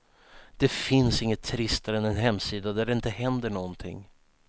Det finns inget tristare än en hemsida där det inte händer någonting.